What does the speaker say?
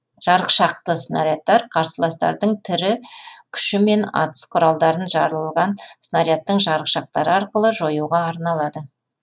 жарықшақты снарядтар қарсыластардың тірі күші мен атыс құралдарын жарылған снарядтың жарықшақтары арқылы жоюға арналады